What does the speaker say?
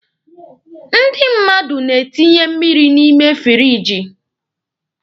Ndị mmadụ na-etinye mmiri n'ime firiji.